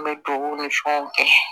N bɛ dugawu ni fɛnw kɛ